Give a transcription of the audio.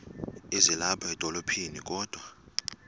ezilapha edolophini kodwa